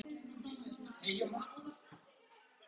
Karl: Getið þið framleitt meira?